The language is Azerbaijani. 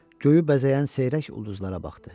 Göyü bəzəyən seyrək ulduzlara baxdı.